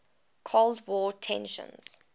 cold war tensions